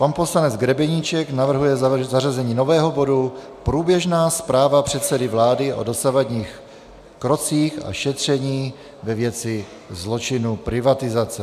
Pan poslanec Grebeníček navrhuje zařazení nového bodu Průběžná zpráva předsedy vlády o dosavadních krocích a šetření ve věci zločinů privatizace.